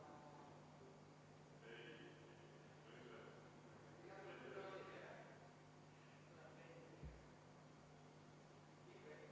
Ma püüan teha vähe pehmemad haamrilöögid.